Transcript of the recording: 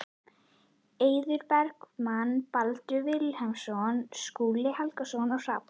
Eiður Bergmann, Baldur Vilhelmsson, Skúli Helgason og Hrafn